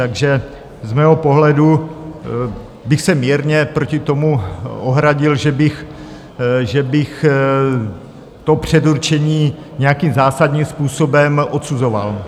Takže z mého pohledu bych se mírně proti tomu ohradil, že bych to předurčení nějakým zásadním způsobem odsuzoval.